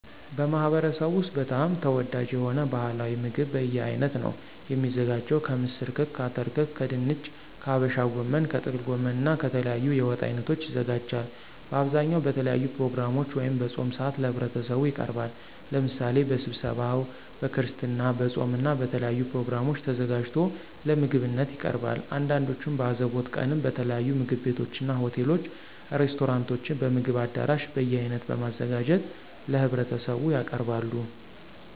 በማህበረሰቡ ወስጥ በጣም ተወዳጅ የሆነው ባህላዊ ምግብ በየአይነት ነው። የሚዘጋጀው ከምስር ክክ፣ አተር ክክ ከድንች፣ ከሀበሻ ጎመን፣ ከጥቅል ጎመን እና ከተለያዩ የወጥ አይነቶች ይዘጋጃል። በአብዛኛው በተለያዩ ፕሮግራሞች ወይም በፆም ሰአት ለህብረተሰቡ ይቀርባል። ለምሳሌ በስብሰባው፣ በክርስትና፣ በፆም እና በተለያዩ ፕሮግራሞች ተዘጋጅቶ ለምግብነት ይቀርባል። አንዳንዶቹም በአዘቦት ቀንም በተለያዩ ምግብ ቤቶችና፣ ሆቴሎች፣ ሬስቶራንቶችም፣ በምግብ አዳራሽ በየአይነት በማዘጋጀት ለህብረተሰቡ ያቀርባሉ።